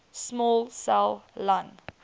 small cell lung